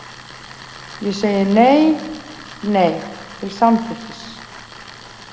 Ég segi nei, nei, til samþykkis.